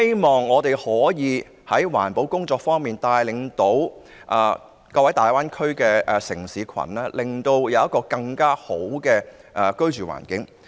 在環保工作方面，我希望香港可以帶領大灣區各個城市，讓大家享有更佳的居住環境。